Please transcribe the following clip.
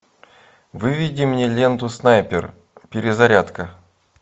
выведи мне ленту снайпер перезарядка